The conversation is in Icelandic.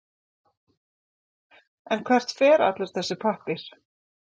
En hvert fer allur þessi pappír?